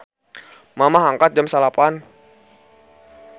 Mamah angkat jam 09.00